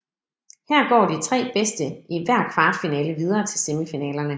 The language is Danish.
Her går de tre bedste i hver kvartfinale videre til semifinalerne